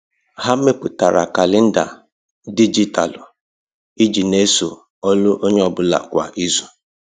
Ha mepụtara kalenda dijitalụ iji n'eso ọlụ onye ọ bụla kwa izu.